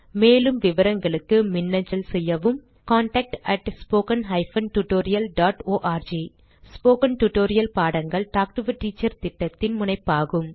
மேலும் விவரங்களுக்கு மின்னஞ்சல் செய்யவும் contactspoken tutorialorg ஸ்போகன் டுடோரியல் பாடங்கள் டாக் டு எ டீச்சர் திட்டத்தின் முனைப்பாகும்